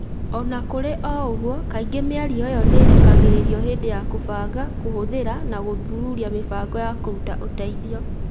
O na kũrĩ ũguo, kaingĩ mĩario ĩyo nĩ ĩrekagĩrĩrũo hĩndĩ ya kũbanga, kũhũthĩra, na gũthuthuria mĩbango ya kũruta ũteithio.